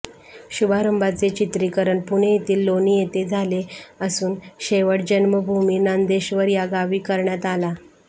शुभारंभाचे चित्रिकरण पुणे येथील लोणी येथे झाले असून शेवट जन्मभूमी नंदेश्वर या गावी करण्यात आला